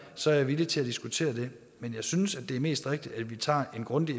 så er jeg villig til at diskutere det men jeg synes det er mest rigtigt at vi tager en grundig